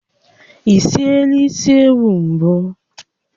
Ị siela isi ewu mbụ?